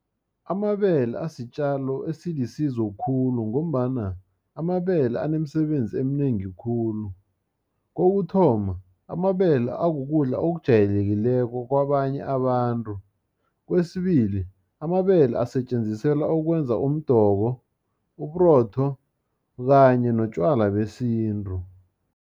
Amabele asitjalo esilisizo khulu, ngombana amabele anemisebenzi eminengi khulu. Kokuthoma amabele akukudla okujayelekileko kwabanye abantu. Kwesibili, amabele asetjenziselwa okwenza umdoko, uburotho kanye notjwala besintu.